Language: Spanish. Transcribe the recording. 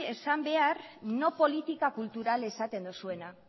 esan behar no política cultural esaten dozuena